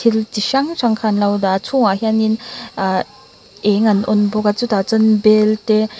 tin chi hrang hrang kha anlo dah a a chungah hianin ahh eng an on bawk a chutah chuanin bel te--